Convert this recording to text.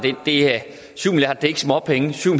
ikke er småpenge syv